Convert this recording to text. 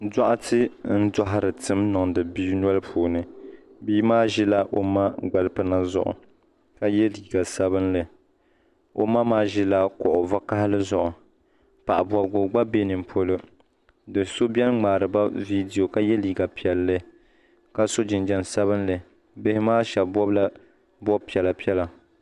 Dɔɣitɛ n dɔhiri tim niŋdi bia noli puuni bia maa zila o ma gbali pina zuɣu ka ye liiga sabinli o ma maa zila kuɣu vakahali zuɣu paɣi bɔbigu gba bɛ ni polo doo so bɛni mŋaari ba viideo ka ye liiga piɛlli ka so jinjam sabinli biha maa shɛba bɔbi la bɔbi piɛlla piɛlla.